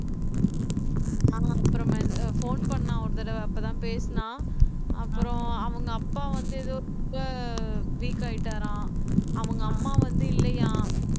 ஆஹ் அப்புறமேல் phone பண்ணான் ஒரு தடவை அப்பதான் பேசினான் அப்புறம் அவங்க அப்பா வந்து ஏதோ ரொம்ப weak ஆயிட்டாராம் அவங்க அம்மா வந்து இல்லையாம்